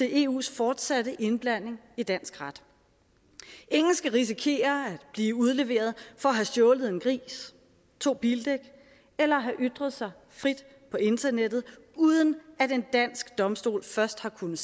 eus fortsatte indblanding i dansk ret ingen skal risikere at blive udleveret for at have stjålet en gris to bildæk eller have ytret sig frit på internettet uden at en dansk domstol først har kunnet